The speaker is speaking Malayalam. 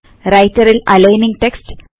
റൈറ്റർൽ അലയിനിങ്ങ് ടെക്സ്റ്റ്